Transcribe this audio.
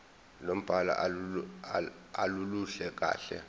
lombhalo aluluhle kahle